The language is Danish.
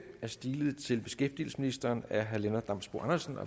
er stilet til beskæftigelsesministeren af herre lennart damsbo andersen